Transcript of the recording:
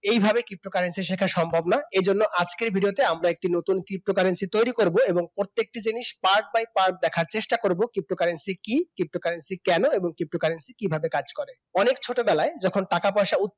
এইভাবে pto currency শেখা সম্ভব নয় এইজন্য আজকের video তে আমরা একটি নতুন pto currency তৈরী করব এবং প্রত্যেকটি জিনিস part by part দেখার চেষ্টা করব pto currency কি pto currency কেন এবং pto currency কিভাবে কাজ করে অনেক ছোটবেলায় যখন টাকা পয়সা